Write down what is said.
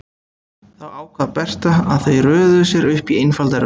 Þá ákvað Berta að þau röðuðu sér upp í einfalda röð.